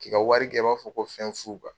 K'i ka wari kɛ i b'a fɔ ko fɛn fu kuwa.